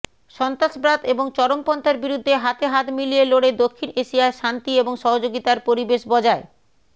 সন্ত্রাসবাদ এবং চরমপন্থার বিরুদ্ধে হাতে হাত মিলিয়ে লড়ে দক্ষিণ এশিয়ায় শান্তি এবং সহযোগিতার পরিবেশ বজায়